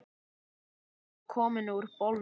Hún var komin úr bolnum.